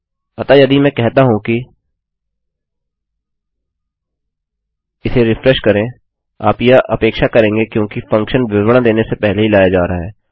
अतः यदि मैं कहता हूँ कि इसे रिफ्रेश करें आप यह अपेक्षा करेंगे क्योंकि फंक्शन विवरण देने से पहले ही लाया जा रहा है